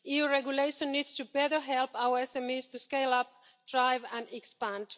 EU regulation needs to better help our SMEs to scale up, drive and expand.